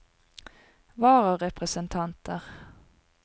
vararepresentanter